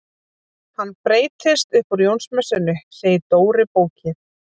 Hann breytist upp úr Jónsmessunni segir Dóri bóki.